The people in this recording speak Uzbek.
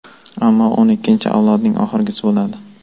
Ammo o‘n ikkinchi avloding oxirgisi bo‘ladi”.